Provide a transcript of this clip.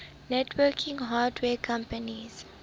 networking hardware companies